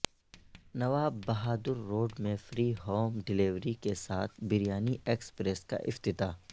نواب بہادرروڈمیںفری home delivery کے ساتھ بریانی ایکسپریس کاافتتاح